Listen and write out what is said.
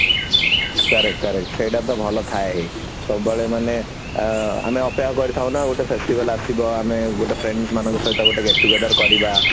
correct correct ସେଇଟା ତ ଭଲ ଥାଏ ସବୁବେଳେ ମାନେ ଅ ଆମେ ଅପେକ୍ଷା କରିଥାଉ ନା ଗୋଟେ festival ଆସିବ ଆମେ ଗୋଟେ friends ମାନଙ୍କ ସହିତ ଗୋଟେ get together କରିବା